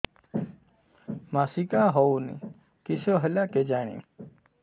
ମାସିକା ହଉନି କିଶ ହେଲା କେଜାଣି